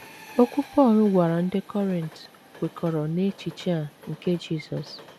Okwu Pọl gwara ndị Kọrint kwekọrọ n’echiche a nke Jisọs.